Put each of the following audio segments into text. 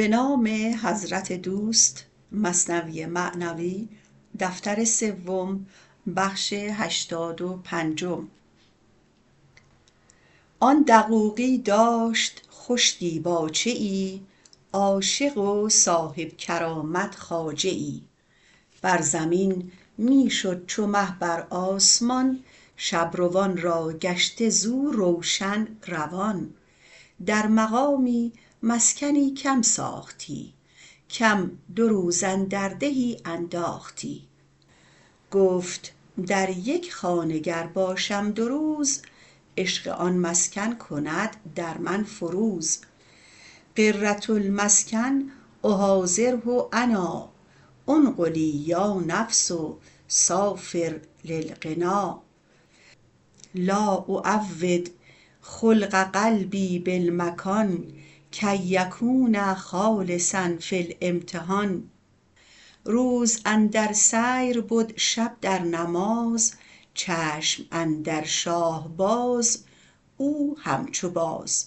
آن دقوقی داشت خوش دیباجه ای عاشق و صاحب کرامت خواجه ای در زمین می شد چو مه بر آسمان شب روان راگشته زو روشن روان در مقامی مسکنی کم ساختی کم دو روز اندر دهی انداختی گفت در یک خانه گر باشم دو روز عشق آن مسکن کند در من فروز غرة المسکن احاذره انا انقلی یا نفس سیری للغنا لا اعود خلق قلبی بالمکان کی یکون خالصا فی الامتحان روز اندر سیر بد شب در نماز چشم اندر شاه باز او همچو باز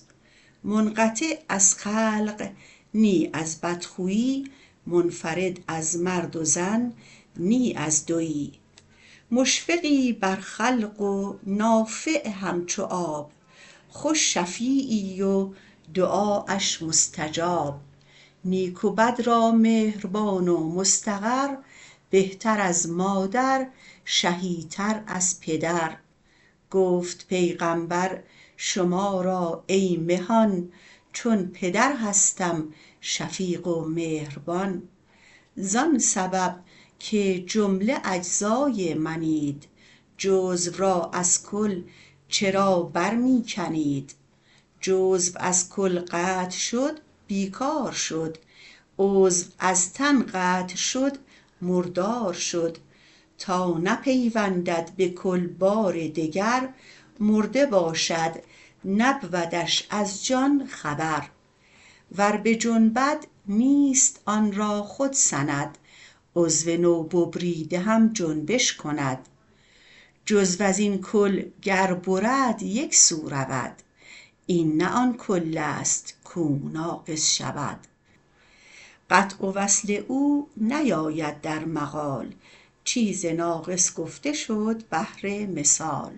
منقطع از خلق نه از بد خوی منفرد از مرد و زن نه از دوی مشفقی بر خلق و نافع همچو آب خوش شفعیی و دعااش مستجاب نیک و بد را مهربان و مستقر بهتر از مادر شهی تر از پدر گفت پیغامبر شما را ای مهان چون پدر هستم شفیق و مهربان زان سبب که جمله اجزای منید جزو را از کل چرا بر می کنید جزو از کل قطع شد بی کار شد عضو از تن قطع شد مردار شد تا نپیوندد به کل بار دگر مرده باشد نبودش از جان خبر ور بجنبد نیست آن را خود سند عضو نو ببریده هم جنبش کند جزو ازین کل گر برد یکسو رود این نه آن کلست کو ناقص شود قطع و وصل او نیاید در مقال چیز ناقص گفته شد بهر مثال